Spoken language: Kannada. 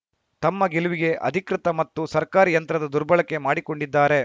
ತಮ್ಮ ಗೆಲುವಿಗೆ ಅಧಿಕೃತ ಮತ್ತು ಸರ್ಕಾರಿ ಯಂತ್ರದ ದುರ್ಬಳಕೆ ಮಾಡಿಕೊಂಡಿದ್ದಾರೆ